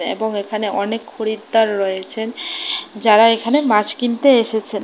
এবং এখানে অনেক খরিদ্দার রয়েছেন যারা এখানে মাছ কিনতে এসেছেন।